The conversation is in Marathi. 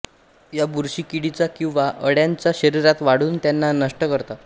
ह्या बुरशी किडीच्या किंवा अळ्यांच्या शरीरात वाढून त्यांना नष्ट करतात